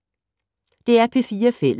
DR P4 Fælles